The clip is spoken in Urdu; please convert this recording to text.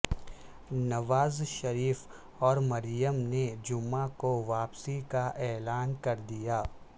نواز شریف اور مریم نے جمعہ کو واپسی کا اعلان کردیا